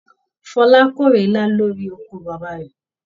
Fola k'ore ilá lori oko bàbá rẹ.